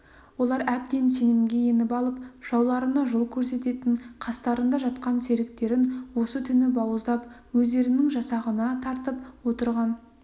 олар әбден сенімге еніп алып жауларына жол көрсететін қастарында жатқан серіктерін осы түні бауыздап өздерінің жасағына тартып отырған